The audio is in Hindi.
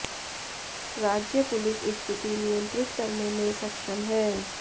राज्य पुलिस स्थिति नियंत्रित करने में सक्षम है